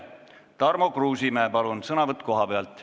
Tarmo Kruusimäe, palun, sõnavõtt kohalt!